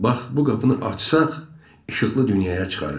Bax, bu qapını açsaq, işıqlı dünyaya çıxarıq.